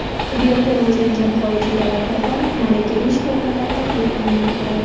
Tibbiyoti rivojlangan xorijiy davlatlardan malakali shifokorlar taklif qilinmoqda.